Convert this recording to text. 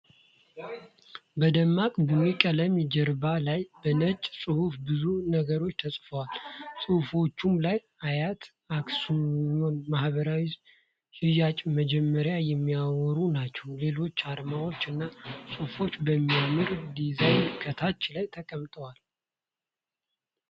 በደማቅ ቡኒ ቀለም ጀርባ ላይ በነጭ ጽሁፍ ብዙ ነገሮች ተጽፈዋል። ጽሁፎቹም ስለ አያት አክስዮን ማህበር ሽያጭ መጀመር የሚያወሩ ናቸው። ሌሎች አርማዎች እና ጽሁፎችም በሚያምር ዲዛይን ከታች ላይ ተቀምጧል።